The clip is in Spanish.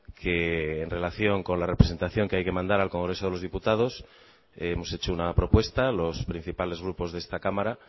que en relación con la representación que hay que mandar al congreso de los diputados hemos hecho una propuesta los principales grupos de esta cámara